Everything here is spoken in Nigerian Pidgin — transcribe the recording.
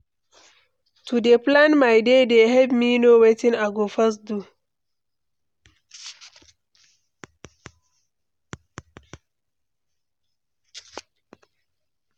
To dey plan my day dey help me know wetin I go first do.